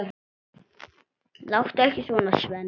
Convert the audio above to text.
Láttu ekki svona, Svenni.